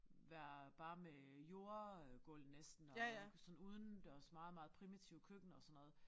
Være bare med jordgulv næsten og og sådan udendørs meget meget primitivt køkken og sådan noget